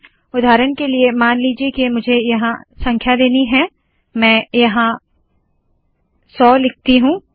उदाहरण के लिए मान लीजिए के मुझे यहाँ संख्या देनी है मैं यहाँ 100 लिखती हूँ